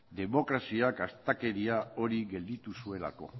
demokraziak astakeria hori gelditu zuelako